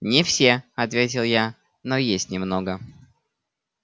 не все ответил я но есть немного